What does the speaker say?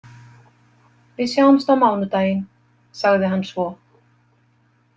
Við sjáumst á mánudaginn, sagði hann svo.